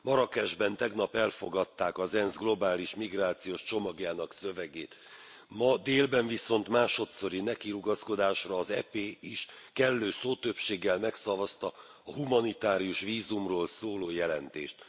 Marrákesben tegnap elfogadták az ENSZ globális migrációs csomagjának szövegét. Ma délben viszont, másodszori nekirugaszkodásra, az EP is kellő szótöbbséggel megszavazta a humanitárius vízumról szóló jelentést.